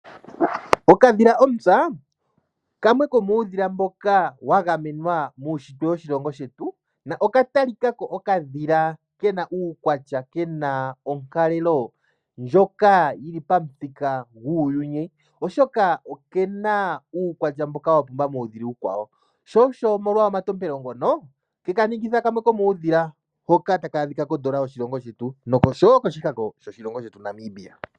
Okadhila ontsa kamwe komuudhila mboka wa gamenwa muunshitwe woshilongo shetu noka talika ko okadhila ke na uukwatya ke na onkalelo ndjoka yi li pamuthika guuyuni, oshoka oke na uukwatya wa pumba muudhila uukwawo, molwa omatompelo ngono ke ka ningitha kamwe komuudhila tawu adhika kodola yoshilongo shetu noshowo koshihako shoshilongo shetu Namibia.